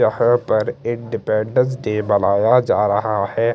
यहाँ पर independence day बनाया जा रहा है।